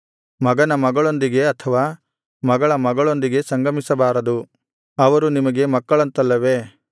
ಮಗನ ಮಗಳೊಂದಿಗೆ ಅಥವಾ ಮಗಳ ಮಗಳೊಂದಿಗೆ ಸಂಗಮಿಸಬಾರದು ಅವರು ನಿಮಗೆ ಮಕ್ಕಳಂತಲ್ಲವೇ